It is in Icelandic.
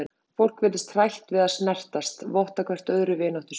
Fólk virðist hrætt við að snertast, votta hvert öðru vináttu sína.